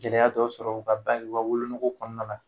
Gɛlɛya dɔ sɔrɔ u ka ba o ka wolonogo kɔnɔna na.